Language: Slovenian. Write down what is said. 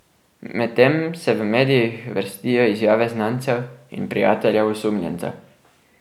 Medtem se v medijih vrstijo izjave znancev in prijateljev osumljenca.